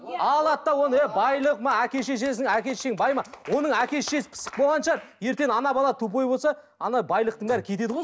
алады да оны ей байлық әке шешесін әке шешең бай ма оның әке шешесі пысық болған шығар ертең ана бала тупой болса ана байлықтың бәрі кетеді ғой